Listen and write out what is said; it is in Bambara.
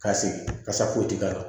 Ka segin ka sa foyi ti k'ala